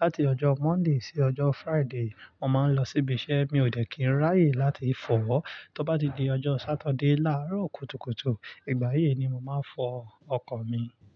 láti ọjọ́ Monday sí ọjọ́ Friday, mo máa ń lọ síbi iṣẹ́. Mi ò de kí ń ráàyè láti fọ. Tó bá di ọjọ́ Sátidé láàárọ̀ kùtùkùtù, ìgbà yìí ni mo máa fọ ọkọ̀ mi.